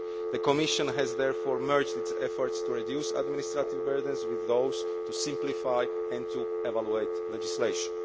The Commission has therefore merged its efforts to reduce administrative burdens with those to simplify and to evaluate legislation.